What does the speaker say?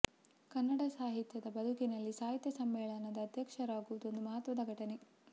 ಕನ್ನಡ ಸಾಹಿತಿಯ ಬದುಕಿನಲ್ಲಿ ಸಾಹಿತ್ಯ ಸಮ್ಮೇಳನದ ಅಧ್ಯಕ್ಷರಾಗುವುದು ಒಂದು ಮಹತ್ವದ ಘಟನೆ